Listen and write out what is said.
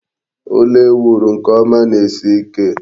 Ụlọ ala e wuru nke ọma na-esi ike.